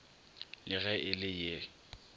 le ge e le ye